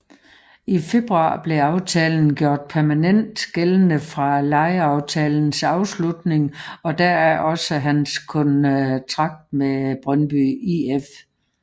I februar blev aftalen gjort permanent gældende fra lejeaftalens afslutning og deraf også hans kontrakt med Brøndby IF